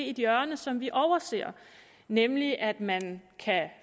et hjørne som vi overser nemlig at man